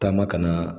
Taama ka na